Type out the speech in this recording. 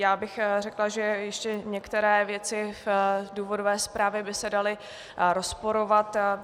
Já bych řekla, že ještě některé věci v důvodové zprávě by se daly rozporovat.